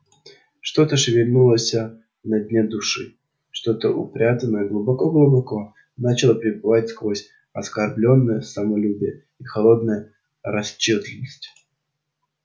что-то шевельнулося на дне души что-то упрятанное глубоко-глубоко начало прибывать сквозь оскорблённое самолюбие и холодное расчётливость